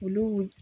Olu